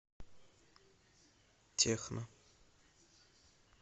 техно